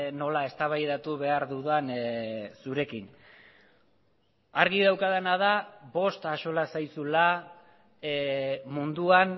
nola eztabaidatu behar dudan zurekin argi daukadana da bost axola zaizula munduan